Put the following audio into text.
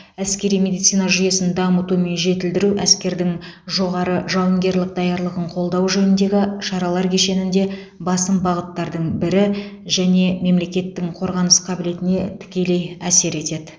әскери медицина жүйесін дамыту мен жетілдіру әскердің жоғары жауынгерлік даярлығын қолдау жөніндегі шаралар кешенінде басым бағыттардың бірі және мемлекеттің қорғаныс қабілетіне тікелей әсер етеді